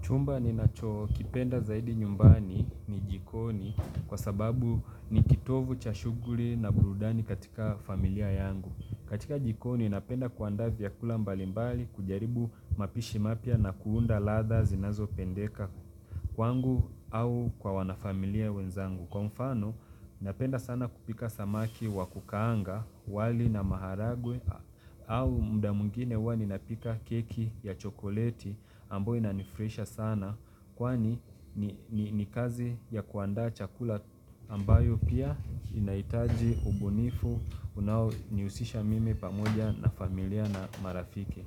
Chumba ni nacho kipenda zaidi nyumbani ni jikoni kwa sababu ni kitovu cha shuguli na burudani katika familia yangu. Katika jikoni napenda kuandavyakula mbalimbali kujaribu mapishi mapya na kuunda ladha zinazo pendeka kwangu au kwa wanafamilia wenzangu. Kwa mfano, napenda sana kupika samaki wa kukaanga, wali na maharagwe au mda mwingine huwa ni napika keki ya chokoleti ambayo ina nifresha sana. Kwa ni ni kazi ya kuandaa chakula ambayo pia inaitaji ubunifu unaoniusisha mimi pamoja na familia na marafiki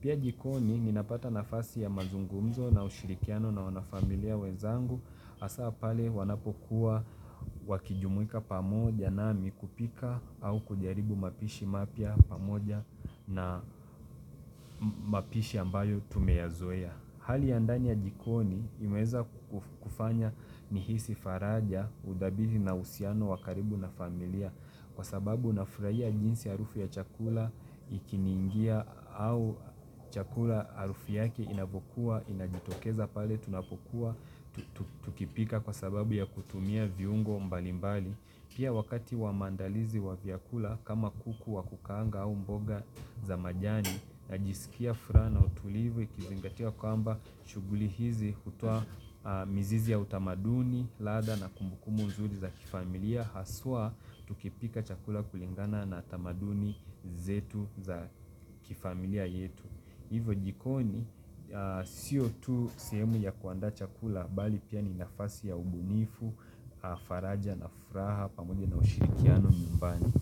Pia jikoni ninapata nafasi ya mazungumzo na ushirikiano na wanafamilia wezangu asapale wanapokuwa wakijumuika pamoja na mikupika au kujaribu mapishi mapya pamoja na mapishi ambayo tumeyazoea. Hali ya ndani ya jikoni imeza kufanya nihisi faraja, udabihi na usiano wakaribu na familia kwa sababu na furaia jinsi arufu ya chakula ikiningia au chakula arufu yake inapokuwa, inajitokeza pale, tunapokuwa, tukipika kwa sababu ya kutumia viungo mbalimbali. Pia wakati wamandalizi wavyakula kama kuku wa kukaanga au mboga za majani na jisikia furaha na utulivu ikizingatia kwa amba shuguli hizi hutoa mizizi ya utamaduni ladha na kumbuku muzuri za kifamilia haswa tukipika chakula kulingana na tamaduni zetu za kifamilia yetu. Hivo jikoni, sio tu sehemu ya kuandaa chakula bali pia ni nafasi ya ubunifu, faraja na furaha, pamoja na ushirikiano nyumbani.